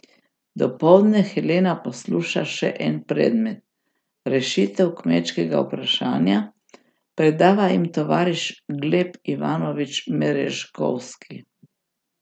Dopoldne Helena posluša še en predmet, Rešitev kmečkega vprašanja, predava jim tovariš Gleb Ivanovič Merežkovski.